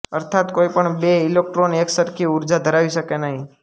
અર્થાત કોઈ પણ બે ઈલેક્ટ્રૉન એકસરખી ઊર્જા ધરાવી શકે નહિ